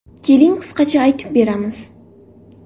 Keling qisqacha aytib beramiz.